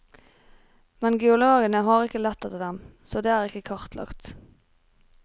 Men geologene har ikke lett etter dem, så de er ikke kartlagt.